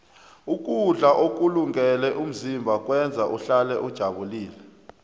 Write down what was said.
ukudla ukulungele umzimba kwenza uhlale ujabulile